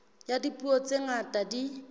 ya dipuo tse ngata di